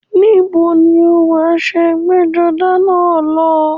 Níbo ni o wọ aṣọ ẹgbẹ́-jọdá náà lọ?